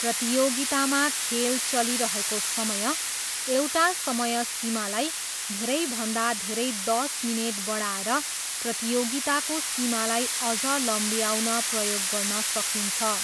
प्रतियोगितामा खेल चलिरहेको समय, एउटा समय सीमालाई, धेरैभन्दा धेरै दस मिनेट बढाएर प्रतियोगिताको सीमालाई अझ लम्ब्याउन प्रयोग गर्न सकिन्छ।